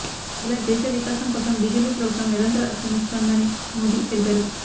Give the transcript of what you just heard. ఇలా దేశ వికాసం కోసం బిజెపి ప్రభుత్వం నిరంతర శ్రమిస్తోందని మోదీ తెలిపారు